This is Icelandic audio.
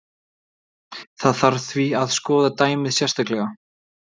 Það þarf því að skoða dæmið sérstaklega.